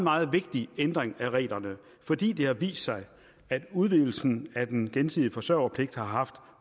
meget vigtig ændring af reglerne fordi det har vist sig at udvidelsen af den gensidige forsørgerpligt har haft